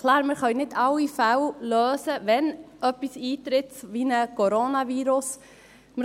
Klar, wir können nicht alle Fälle lösen, wenn etwas wie ein Coronavirus eintritt.